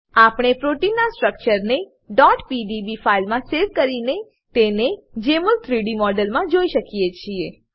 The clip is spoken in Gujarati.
આપણે પ્રોટીનના સ્ટ્રક્ચરને pdb ફાઈલમાં સેવ કરીને તેને જેમોલમાં 3ડી મોડમાં જોઈ શકીએ છીએ